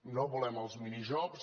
no volem els minijobs